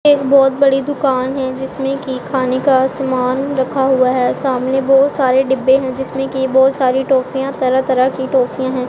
एक बहुत बड़ी दुकान है जिसमें की खाने का सामान रखा हुआ है सामने बहुत सारे डिब्बे हैं जिसमें की बहुत सारी टोपियां तरह. तरह की टोपियां हैं।